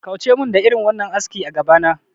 Kauce mun da irin wannan aski a gabana